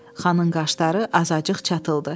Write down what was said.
Xanın qaşları azacıq çatıldı.